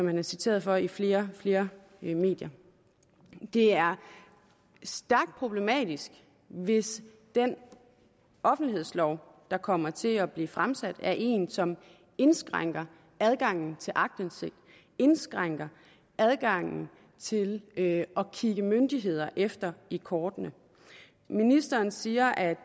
han citeret for i flere flere medier det er stærkt problematisk hvis den offentlighedslov der kommer til at blive fremsat er en som indskrænker adgangen til aktindsigt indskrænker adgangen til at kigge myndigheder efter i kortene ministeren siger at